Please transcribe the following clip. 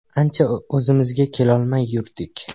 Ancha o‘zimizga kelolmay yurdik.